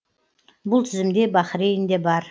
бұл тізімде бахрейн де бар